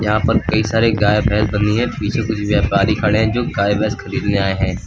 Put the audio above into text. यहां पर कई सारे गाय भैंस बंधी है पीछे कुछ व्यापारी खड़े हैं जो गाय भैंस खरीदने आए हैं।